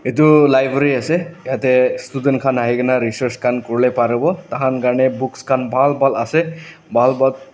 etu library ase tate student khan ahi ke na research khan kuri leh paribo tah khan karne books khan bhal bhal ase bhal bat.